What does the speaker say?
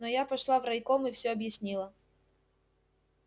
но я пошла в райком и все объяснила